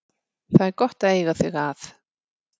Það er gott að eiga þig að.